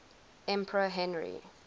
emperor henry